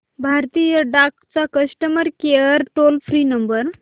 भारतीय डाक चा customer care toll free number